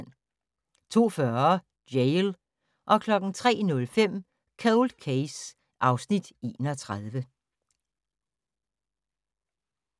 02:40: Jail 03:05: Cold Case (Afs. 31)